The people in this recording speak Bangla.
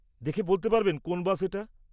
দেখে বলতে পারবেন কোন বাস এটা?